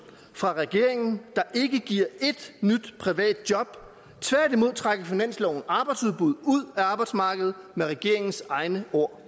fra regeringen der ikke giver ét nyt privat job tværtimod trækker finansloven arbejdsudbuddet ud af arbejdsmarkedet med regeringens egne ord